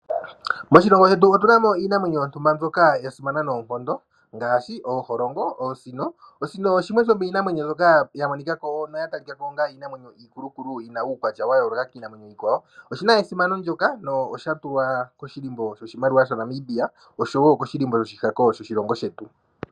Moshilongo shetu otuna mo iinamwenyo yontumba mbyoka yasimana noonkondo ngaashi ooholongo, oosino. Osino shimwe shomiinamwenyo mbyoka yamonikako no yatalikako iikulukulu yina uukwatya wayooloka kiinamwenyo iikwawo oshina esimano ndyoka noshatulwa koshilimbo shoshimaliwa shaNamibia nosho wo koshilimbo shoshihako shilongo shetu.